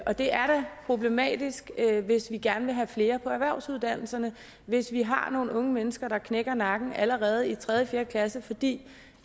og det er da problematisk hvis vi gerne vil have flere ind på erhvervsuddannelserne og hvis vi har nogle unge mennesker der knækker nakken allerede i tredje fire klasse fordi